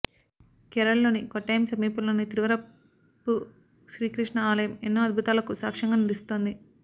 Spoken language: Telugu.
కేరళలోని కొట్టాయం సమీపంలోని తిరువరప్పు శ్రీకృష్ణ ఆలయం ఎన్నో అద్భుతాలకు సాక్ష్యంగా నిలుస్తోంది